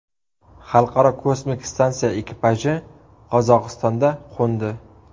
Xalqaro kosmik stansiya ekipaji Qozog‘istonda qo‘ndi.